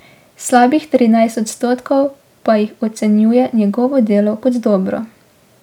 Slabih trinajst odstotkov pa jih ocenjuje njegovo delo kot dobro.